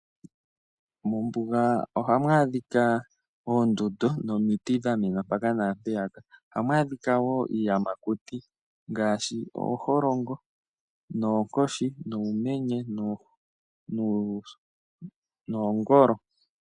Mombuga ohamu adhika oondundu nomiti dha mena mpaka naa mpeyaka. Ohamu adhika wo iiyamakuti ngaashi ooholongo, oonkoshi, uumenye noongolo.